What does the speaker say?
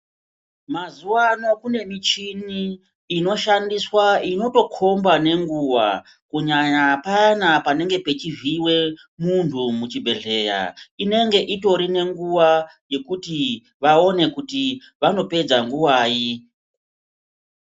Mazuva ano kune muchini inoshandiswa inotokomba nenguwa kunyanya payani panenge pachivhiiwa muntu muchibhehlera inenge itori nenguwa yekuti vaone kuti vanopedza nguwai.